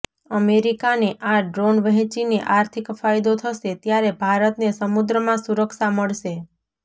અમેરિકાને આ ડ્રોન વહેંચીને આર્થિક ફાયદો થશે ત્યારે ભારતને સમુદ્રમાં સુરક્ષા મળશે